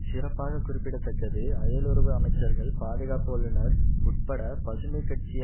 சிறப்பாக குறிப்பிட தக்கது அயலுறவு அமைச்சர்கள் பாதுகாப்பு வல்லுநர் உட்பட பசுமை கட்சி